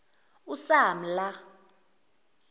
usamla